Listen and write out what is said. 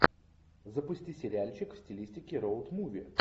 запусти сериальчик в стилистике роуд муви